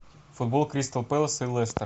футбол кристал пэлас и лестер